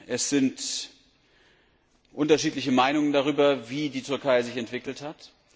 Es herrschen unterschiedliche Meinungen darüber, wie die Türkei sich entwickelt hat.